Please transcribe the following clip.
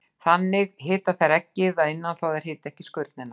Þannig hita þær eggið að innan þó að þær hiti ekki skurnina.